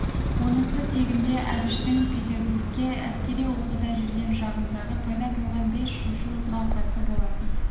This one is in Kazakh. онысы тегінде әбіштің петербургте әскери оқуда жүрген шағында пайда болған без шошу науқасы болатын